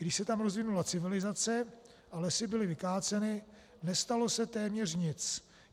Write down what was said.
Když se tam rozvinula civilizace a lesy byly vykáceny, nestalo se téměř nic.